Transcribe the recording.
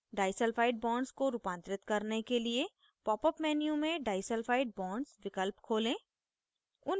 disulphide bonds को रूपांतरित करने के लिए popअप menu में डाईसल्फाइड bonds विकल्प खोलें